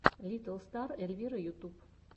литтл стар эльвира ютюб